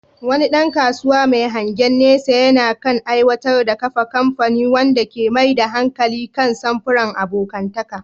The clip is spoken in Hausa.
Wani ɗan kasuwa mai hangen nesa yana kan aiwatar da kafa kamfani wanda ke mai da hankali kan samfuran abokantaka.